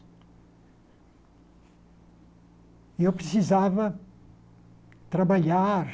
E eu precisava trabalhar,